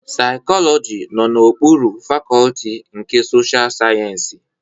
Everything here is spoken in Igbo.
Saikoloji nọ n'okpuru Fakọlti nke Sosha Sayensị.